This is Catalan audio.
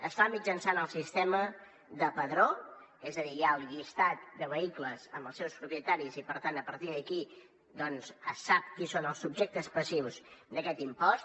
es fa mitjançant el sistema de padró és a dir hi ha el llistat de vehicles amb els seus propietaris i per tant a partir d’aquí doncs es sap qui són els subjectes passius d’aquest impost